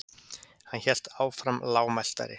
Hann hélt áfram lágmæltari.